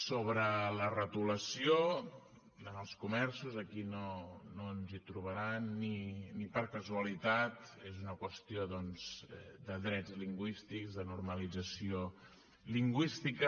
sobre la retolació en els comerços aquí no ens hi trobaran ni per casualitat és una qüestió doncs de drets lingüístics de normalització lingüística